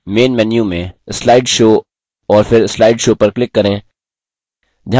main menu में slide show और फिर slide show पर click करें